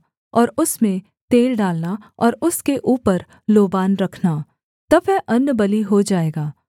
और उसमें तेल डालना और उसके ऊपर लोबान रखना तब वह अन्नबलि हो जाएगा